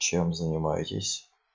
чем занимаетесь